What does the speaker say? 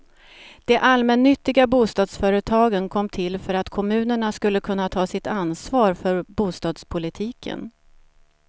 De allmännyttiga bostadsföretagen kom till för att kommunerna skulle kunna ta sitt ansvar för bostadspolitiken.